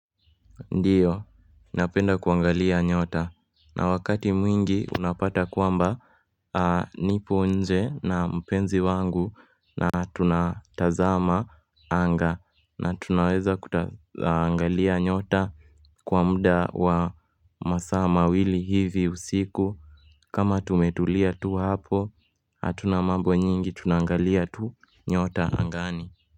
Ndiyo, napenda kuangalia nyota na wakati mwingi unapata kwamba nipo nje na mpenzi wangu na tunatazama anga na tunaweza kuangalia nyota kwa muda wa masaa mawili hivi usiku kama tumetulia tu hapo hatuna mambo nyingi tunangalia tu nyota angani.